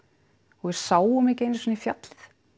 og við sáum ekki einu sinni fjallið